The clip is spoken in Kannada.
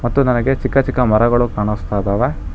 ಮತ್ತು ನನಗೆ ಚಿಕ್ಕ ಚಿಕ್ಕ ಮರಗಳು ಕಾಣಿಸ್ತಾ ಇದ್ದಾವೆ.